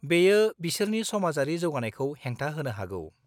बेयो बिसोरनि समाजारि जौगानायखौ हेंथा होनो हागौ।